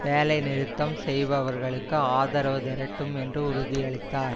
வேலைநிறுத்தம் செய்பவர்களுக்கு ஆதரவு திரட்டும் என்று உறுதியளித்தார்